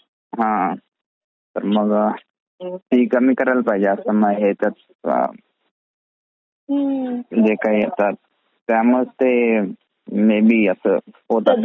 हा मग ते मग कमी करायला पाहजे जे काही आता म्हणजे जे काही आता त्यामुळेच ते मे बे असा होता .